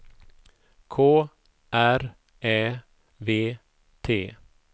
K R Ä V T